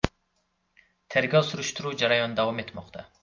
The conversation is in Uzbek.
Tergov-surishtiruv jarayoni davom etmoqda.